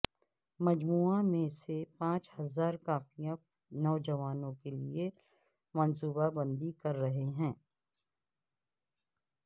مجموعہ میں سے پانچ ہزار کاپیاں نوجوانوں کے لئے منصوبہ بندی کر رہے ہیں